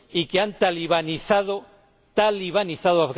y se ha talibanizado ¡talibanizado!